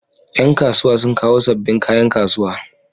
Ƴan kasuwa sun kawo sabbin kaya kasuwa